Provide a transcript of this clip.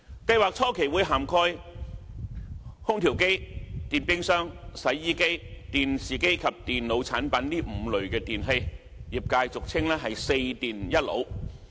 計劃初期會涵蓋空調機、電冰箱、洗衣機、電視機及電腦產品這5類電器，業界俗稱"四電一腦"。